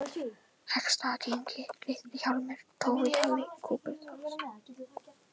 Heggsstaðaengi, Litli-Hjálmur, Tófuhjalli, Kúpuás